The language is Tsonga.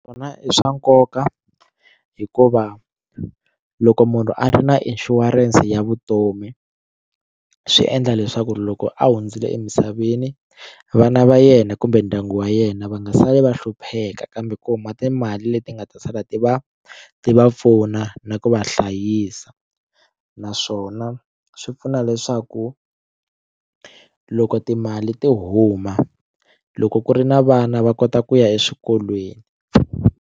Swona i swa nkoka hikuva loko munhu a ri na inshurense ya vutomi swi endla leswaku loko a hundzile emisaveni vana va yena kumbe ndyangu wa yena va nga sali va hlupheka kambe ku huma timali leti nga ta sala ti va ti va pfuna na ku va hlayisa naswona swi pfuna leswaku loko timali ti huma loko ku ri na vana va kota ku ya eswikolweni.